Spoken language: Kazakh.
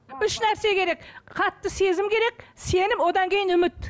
үш нәрсе керек қатты сезім керек сенім одан кейін үміт